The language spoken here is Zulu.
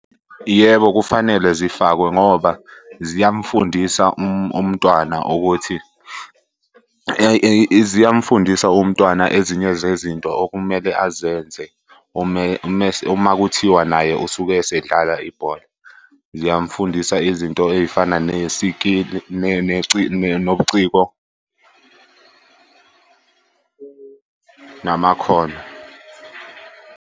Yebo, kufanele zifakwe ngoba ziyamufundisa umntwana ukuthi . Ziyamufundisa umntwana ezinye zezinto okumele azenze uma kuthiwa naye usuke esedlala ibhola. Ziyamufundisa izinto ey'fana nobuciko namakhono.